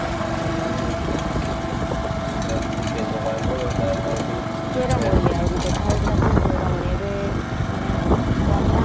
ଆଗ କାଳରେ କିଛି ନୁହ। ଖାଲି ବାସ ଟିକେ ଜର ହେଲେ